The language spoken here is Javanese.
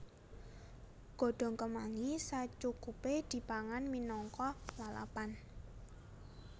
Godhong kemangi sacukupé dipangan minangka lalapan